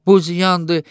bu ziyandır,